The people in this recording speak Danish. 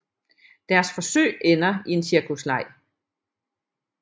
Deres forsøg ender i en cirkusleg